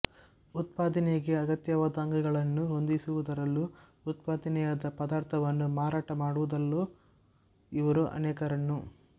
ಉತ್ಪಾದನೆಗೆ ಅಗತ್ಯವಾದ ಅಂಗಗಳನ್ನು ಹೊಂದಿಸುವುದರಲ್ಲೂ ಉತ್ಪಾದನೆಯಾದ ಪದಾರ್ಥವನ್ನು ಮಾರಾಟ ಮಾಡುವುದರಲ್ಲೂ ಇವರು ಅನೇಕರನ್ನು